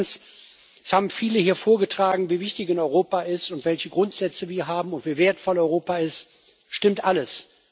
Zweitens Es haben viele hier vorgetragen, wie wichtig ihnen Europa ist, welche Grundsätze wir haben, und wie wertvoll Europa ist stimmt alles.